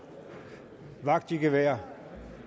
vagt i gevær